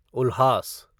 उल्हास